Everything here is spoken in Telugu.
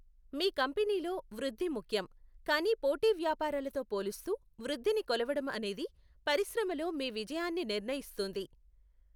మీ కంపెనీలో వృద్ధి ముఖ్యం, కానీ పోటీ వ్యాపారాలతో పోలుస్తూ వృద్ధిని కొలవడం అనేది పరిశ్రమలో మీ విజయాన్ని నిర్ణయిస్తుంది.